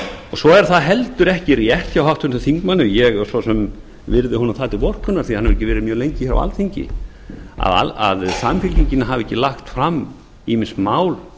svo er það heldur ekki rétt hjá háttvirtum þingmanni og ég svo sem virði honum það til vorkunnar því hann hefur ekki verið mjög lengi á alþingi að samfylkingin hafi ekki lagt fram ýmis mál